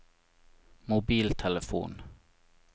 mobiltelefon